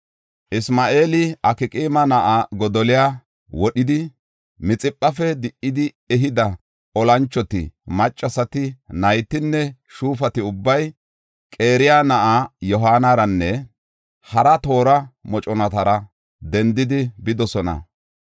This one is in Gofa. Isma7eeli Akqaama na7aa Godoliya wodhidi, Mixiphafe di77idi ehida olanchoti, maccasati, naytinne shuufati ubbay Qaraya na7aa Yohaanaranne hara toora moconatara dendidi bidosona.